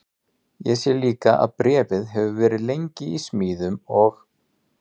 Ég sé líka að bréfið hefur verið lengi í smíðum og